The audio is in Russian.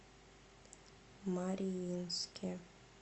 мариинске